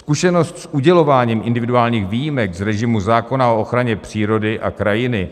Zkušenost s udělováním individuálních výjimek z režimu zákona o ochraně přírody a krajiny,